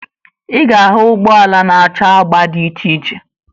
Ị ga-ahụ ụgbọala na-acha agba dị iche iche